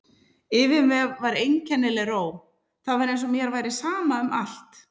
Yfir mér var einkennileg ró, það var eins og mér væri sama um allt.